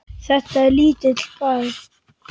Þetta er lítill bær.